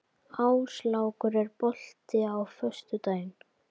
Áslákur, er bolti á föstudaginn?